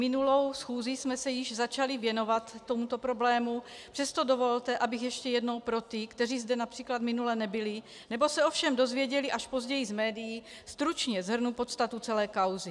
Minulou schůzi jsme se již začali věnovat tomuto problému, přesto dovolte, abych ještě jednou pro ty, kteří zde například minule nebyli nebo se ovšem dozvěděli až později z médií, stručně shrnula podstatu celé kauzy.